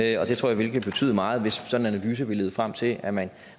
jeg tror at det vil betyde meget hvis analyse vil lede frem til at man